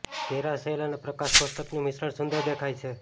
ઘેરા શેલ અને પ્રકાશ કોષ્ટકનું મિશ્રણ સુંદર દેખાય છે